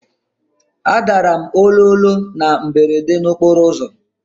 Adara m ololo na mberede n'okporo ụzọ.